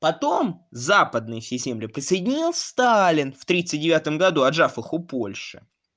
потом западные все земли присоединил сталин в тридцать девятом году отняв их у польши